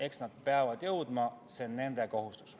Eks nad peavad jõudma, see on nende kohustus.